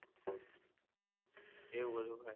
એવું બધું હોય.